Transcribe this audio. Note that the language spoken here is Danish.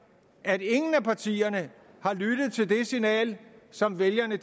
at ingen af partierne har lyttet til det signal som vælgerne